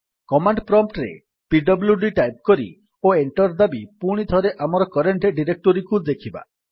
command prompt ରେ PWD type କରି ଓ ଏଣ୍ଟର୍ ଦାବି ପୁଣିଥରେ ଆମର କରେଣ୍ଟ୍ ଡିରେକ୍ଟୋରୀ ଦେଖିବା